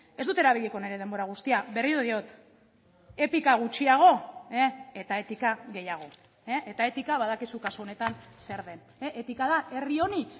ez dut erabiliko nire denbora guztia berriro diot epika gutxiago eta etika gehiago eta etika badakizu kasu honetan zer den etika da herri honi